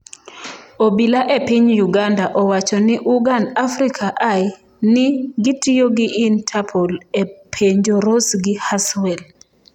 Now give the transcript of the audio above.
Obila e piny Uganda owacho ni Ugan Africa Eye ni gitiyo gi Interpol e penjo Ross gi Haswell.